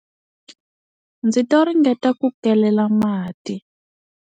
Ndzi to ringeta ku kelela mati.